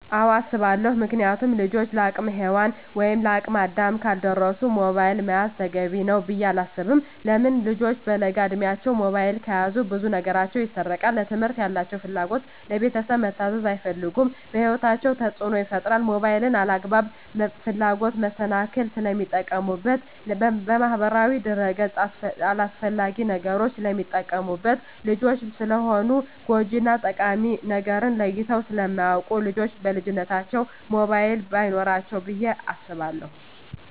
አወ አሰባለው ምክንያቱም ልጆች ለአቅመ ሄዋን ወይም ለአቅመ አዳም ካልደረሱ ሞባይል መያዝ ተገቢ ነው ብዬ አላስብም። ለምን ልጆች በለጋ እድማቸው ሞባይል ከያዙ ብዙ ነገራቸው ይሰረቃል ለትምህርት ያላቸው ፍላጎት, ለቤተሰብ መታዘዝ አይፈልጉም በህይወታቸው ተፅዕኖ ይፈጥራል ሞባይልን ለአላግባብ ፍላጎት መሰናክል ስለሚጠቀሙበት በማህበራዊ ድረ-ገፅ አላስፈላጊ ነገሮች ስለሚጠቀሙበት። ልጆች ስለሆኑ ጎጅ እና ጠቃሚ ነገርን ለይተው ስለማያወቁ ልጆች በልጅነታቸው ሞባይል በይኖራቸው ብዬ አስባለሁ።